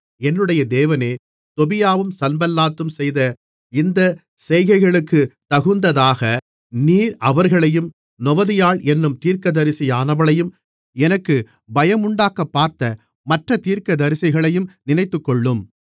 என்னுடைய தேவனே தொபியாவும் சன்பல்லாத்தும் செய்த இந்தச் செய்கைகளுக்குத்தகுந்ததாக நீர் அவர்களையும் நொவதியாள் என்னும் தீர்க்கதரிசியானவளையும் எனக்கு பயமுண்டாக்கப்பார்த்த மற்றத் தீர்க்கதரிசிகளையும் நினைத்துக்கொள்ளும்